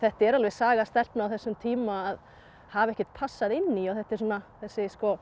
er alveg saga stelpna á þessum tíma að hafa ekkert passað inn í og þetta er svona þessi